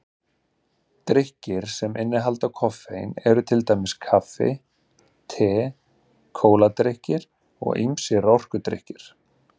Drykkir sem innihalda koffein eru til dæmis kaffi, te, kóladrykkir og ýmsir orkudrykkir.